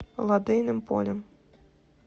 лодейным полем